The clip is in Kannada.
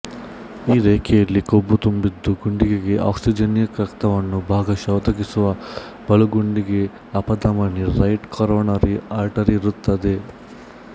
ಈ ರೇಖೆಯಲ್ಲಿ ಕೊಬ್ಬು ತುಂಬಿದ್ದು ಗುಂಡಿಗೆಗೆ ಆಕ್ಸಿಜನ್ಯುಕ್ತ ರಕ್ತವನ್ನು ಭಾಗಶಃ ಒದಗಿಸುವ ಬಲಗುಂಡಿಗೆ ಅಪಧಮನಿ ರೈಟ್ ಕರೋನರಿ ಆರ್ಟರಿ ಇರುತ್ತದೆ